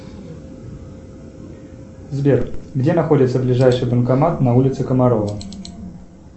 сбер где находится ближайший банкомат на улице комарова